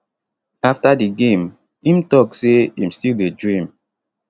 afta di game im tok say im still dey dream